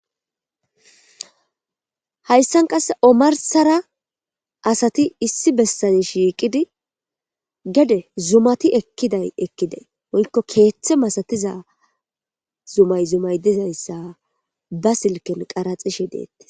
Hayssan qasse omarssara asati issi bessan shiiqidi gede zumati ekkida woyko keethe mala zumay dizaysa ba silken qarathishe de7etes.